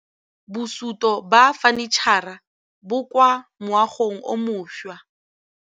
Mogokgo wa sekolo a re bosutô ba fanitšhara bo kwa moagong o mošwa.